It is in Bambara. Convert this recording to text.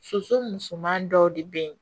Soso musoman dɔw de bɛ ye